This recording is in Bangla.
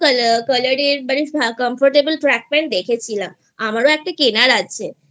Colorএর Trackpant দেখেছিলাম আমারও একটা কেনার আছে।